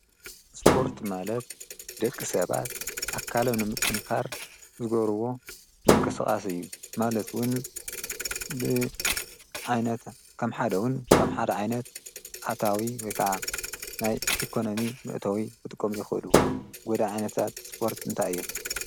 እስጶርት ማለት ደቂ ሰባት ኣካለም ንምጡንካር ዝጐርዎ ምንቀስቓስ እዩ። ማለትውን ብኣይነት ከም ሓደዉን ከም ሓደ ዓይነት ኣታዊ ወይከዓ ናይ ኢኮኖሚ ምእተዊ ብጥቆም ይኾሉ ጐዳ ኣይነታት ስጶርት እንታይ እ?